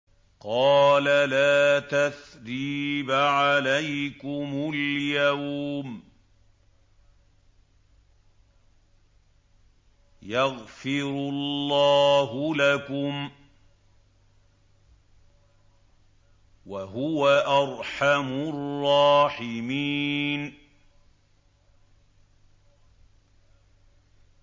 قَالَ لَا تَثْرِيبَ عَلَيْكُمُ الْيَوْمَ ۖ يَغْفِرُ اللَّهُ لَكُمْ ۖ وَهُوَ أَرْحَمُ الرَّاحِمِينَ